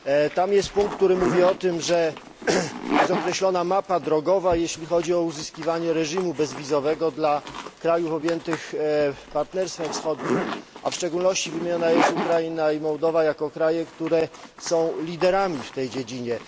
Tam jest punkt, który mówi o tym, że jest określona mapa drogowa, jeśli chodzi o uzyskiwanie reżimu bezwizowego dla krajów objętych Partnerstwem Wschodnim, a w szczególności wymieniona jest Ukraina i Mołdowa jako kraje, które są liderami w tej dziedzinie.